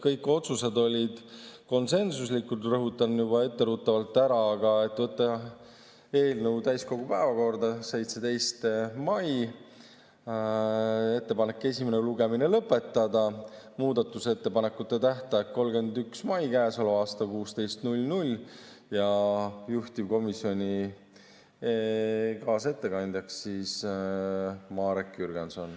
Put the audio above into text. Kõik otsused olid konsensuslikud, rõhutan juba etteruttavalt: võtta eelnõu täiskogu päevakorda 17. mail, ettepanek on esimene lugemine lõpetada, muudatusettepanekute tähtaeg on käesoleva aasta 31. mai kell 16 ja juhtivkomisjoni kaasettekandja on Marek Jürgenson.